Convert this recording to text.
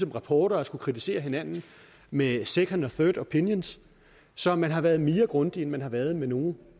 rapporter og skulle kritisere hinanden med second og third opinions så man har været mere grundig end man har været med nogen